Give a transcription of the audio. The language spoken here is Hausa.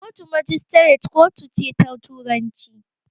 Kotun magistrate kotu ce ta turanci.